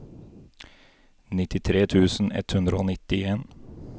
nittitre tusen ett hundre og nittien